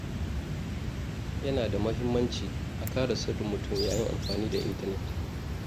Yana da muhimmanci a kare sirrin mutum yayin amfani da intanet.